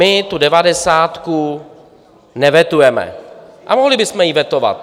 My tu devadesátku nevetujeme, a mohli bychom ji vetovat.